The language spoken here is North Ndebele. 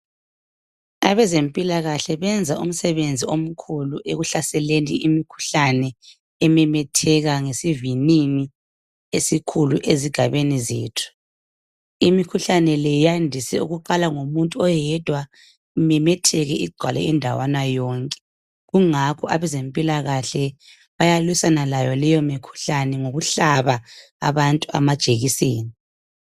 Abezempilakahle benza umsebenzi omkhulu ekuhlaseleni imikhuhlane ememetheka ngesivinini esikhulu ezigabeni zethu. Imikhuhlane le yandise ukuqala ngomuntu oyedwa imemetheke igcwale indawana yonke kungakho abezempilakahle bayalwisana layo leyi mikhuhlane ngokuhlaba abantu amajekiseni.